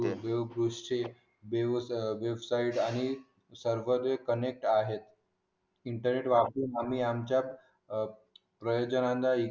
देव दृश्य देव स्थळे हे सर्व कनेक्ट आहे इंटरनेट वापरून आम्ही प्रजाजनांना